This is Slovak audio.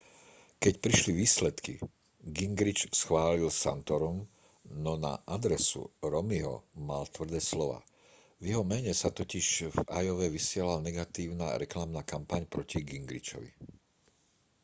keď prišli výsledky gingrich chválil santorum no na adresu romneyho mal tvrdé slová v jeho mene sa totiž v iowe vysielala negatívna reklamná kampaň proti gingrichovi